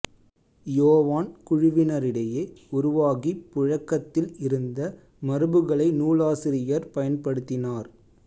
யோவான் குழுவினரிடையே உருவாகிப் புழக்கத்தில் இருந்த மரபுகளை நூலாசிரியர் பயன்படுத்தினார்